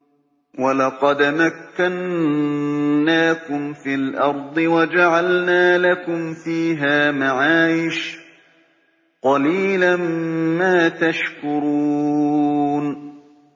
وَلَقَدْ مَكَّنَّاكُمْ فِي الْأَرْضِ وَجَعَلْنَا لَكُمْ فِيهَا مَعَايِشَ ۗ قَلِيلًا مَّا تَشْكُرُونَ